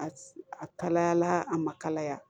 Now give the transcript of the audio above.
A kalayala a ma kalaya